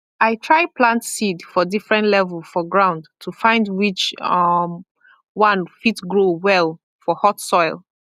i try plant seed for different level for ground to find which um one fit grow well for hot soil